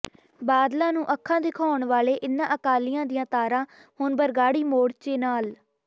ਬਾਦਲਾਂ ਨੂੰ ਅੱਖਾਂ ਦਿਖਾਉਣ ਵਾਲੇ ਇਨ੍ਹਾਂ ਅਕਾਲੀਆਂ ਦੀਆਂ ਤਾਰਾਂ ਹੁਣ ਬਰਗਾੜੀ ਮੋਰਚੇ ਨਾਲ